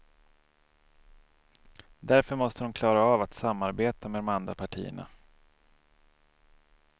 Därför måste de klara av att samarbeta med de andra partierna.